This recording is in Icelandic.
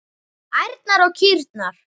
Ærnar og kýrnar.